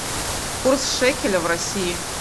курс шекеля в россии